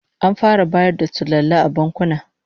An fara bayar da sulalla a bankuna